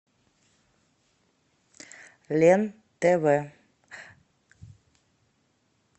лен тв